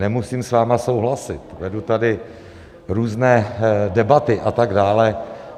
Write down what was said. Nemusím s vámi souhlasit, vedu tady různé debaty a tak dále.